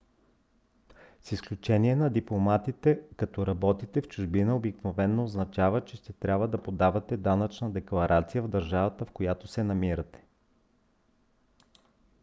с изключение на дипломатите като работите в чужбина обикновено означава че ще трябва да подавате данъчна декларация в държавата в която се намирате